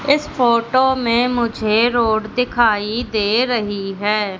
इस फोटो में मुझे रोड दिखाई दे रही है।